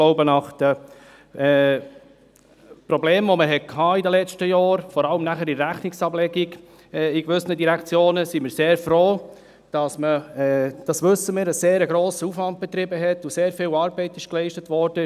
Nach den Problemen, die man in den letzten Jahren hatte, sind wir, denke ich, vor allem bei der Rechnungsablegung in gewissen Direktionen sehr froh, dass man einen grossen Aufwand betrieben hat und sehr viel Arbeit geleistet wurde.